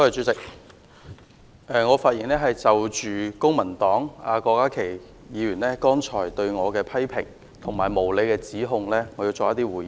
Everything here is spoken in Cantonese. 主席，我想就公民黨郭家麒議員剛才對我的批評和無理指控作回應。